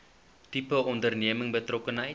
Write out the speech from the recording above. tipe onderneming betrokkenheid